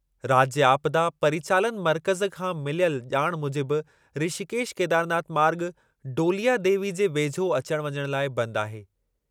राज्य आपदा परिचालन मर्कज़ु खां मिलियल ॼाण मूजिबि ऋषिकेश केदारनाथ मार्ॻ डोलिया देवी जे वेझो अचण वञण लाइ बंदि आहे।